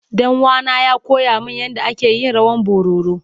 Danuwa na ya koya min yanda ake yin rawan bororo.